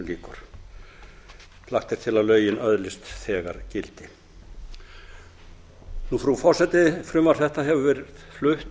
lagt er til að lögin öðlist þegar gildi frú forseti frumvarp þetta hefur verið flutt